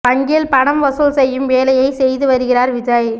வங்கியில் பணம் வசூல் செய்யும் வேலையை செய்து வருகிறார் விஜய்